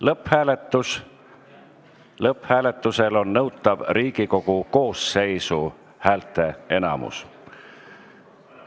Lõpphääletusel on nõutav Riigikogu koosseisu häälteenamus.